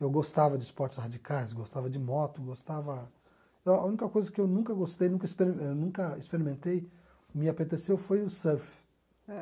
Eu gostava de esportes radicais, gostava de moto, gostava... A a única coisa que eu nunca gostei, nunca experimen eh nunca experimentei, me apeteceu foi o surf. Ãh